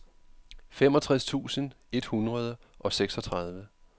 femogtres tusind et hundrede og seksogtredive